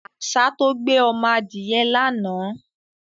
Àṣà tó gbé ọmọ adìyẹ lánàá.